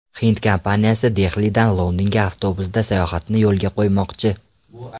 Hind kompaniyasi Dehlidan Londonga avtobusda sayohatni yo‘lga qo‘ymoqchi.